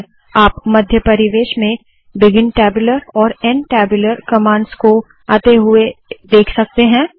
002314 002226 आप मध्य परिवेश में बिगिन टैब्यूलर और एंड टैब्यूलर कमांड्स को आते हुए देख सकते है